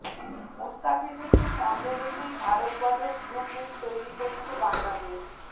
মুস্তাফিজুরকে সামনে রেখেই ভারত বধের ব্লু প্রিন্ট তৈরি করছে বাংলাদেশ